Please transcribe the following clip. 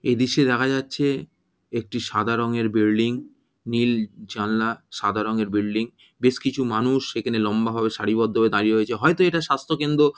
এই দৃশ্যে দেখা যাচ্ছে একটি সাদা রঙের বিল্ডিং নীল জানালা সাদা রঙের বিল্ডিং বেশ কিছু মানুষ সেখানে লম্বাভাবে সারিবদ্ধভাবে দাঁড়িয়ে রয়েছে হয়তো এইটা স্বাস্থকেন্দ্র --